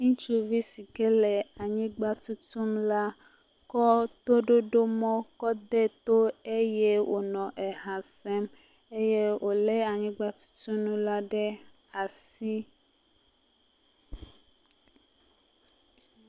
Ŋutsuvi si ke le anyigba tutum la kɔ toɖoɖomɔ kɔ ɖee to eye wònɔ eha sem. Eye wòlé anyigbatutunu ɖe asi.